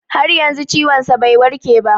Har yanzu ciwon sa bai warke ba